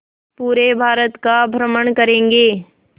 पूरे भारत का भ्रमण करेंगे